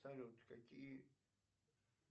салют какие